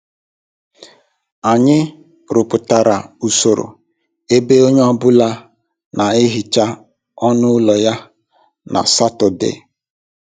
Anyị rụpụtara usoro ebe onye ọ bụla na-ehicha ọnụ ụlọ ya na Satọde